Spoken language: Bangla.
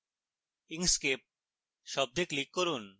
inkscape শব্দে click করুন